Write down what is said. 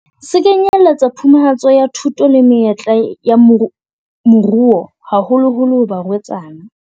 Se kenyeletsa phumantsho ya thuto le menyetla ya moruo, haholoholo ho barwetsana.